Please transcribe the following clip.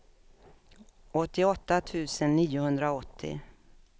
åttioåtta tusen niohundraåttio